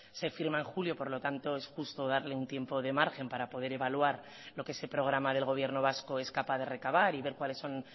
se firma en julio por lo tanto es justo darle un tiempo de margen para poder evaluar lo que se programa del gobierno vasco es capaz de recabar y ver cuáles son